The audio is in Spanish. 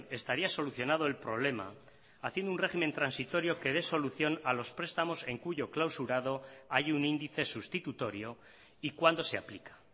estaría solucionado el problema haciendo un régimen transitorio que dé solución a los prestamos en cuyo clausurado hay un índice sustitutorio y cuándo se aplica